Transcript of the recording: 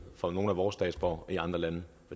for nogle af vores statsborgere i andre lande